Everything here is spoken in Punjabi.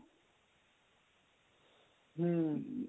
ਹਮ